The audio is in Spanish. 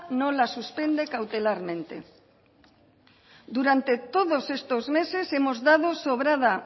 no la suspende cautelarmente durante todos estos meses hemos dado sobrada